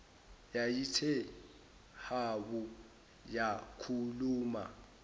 yayithe habu yakhuluma